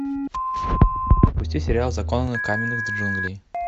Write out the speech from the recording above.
запусти сериал законы каменных джунглей